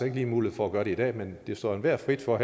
ikke lige mulighed for at gøre det i dag men det står enhver frit for at